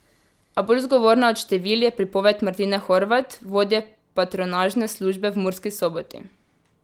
A bolj zgovorna od števil je pripoved Martine Horvat, vodje patronažne službe v Murski Soboti.